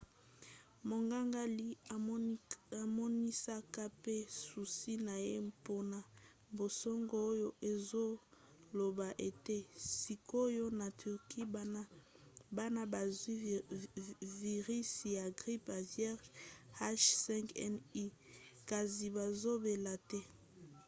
monganga lee amonisaka pe susi na ye mpona basango oyo ezoloba ete sikoyo na turquie bana bazwi virisi ya grippe aviaire h5n1 kasi bazobela te